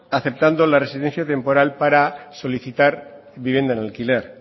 aceptando la residencia temporal para solicitar vivienda en alquiler